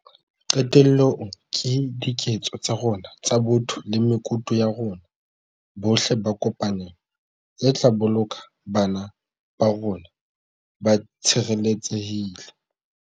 Qetellong, ke diketso tsa rona tsa botho le mekutu ya rona bohle ka kopanelo tse tla boloka bana ba rona ba tshireletsehile.